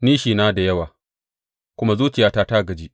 Nishina da yawa kuma zuciyata ta gaji.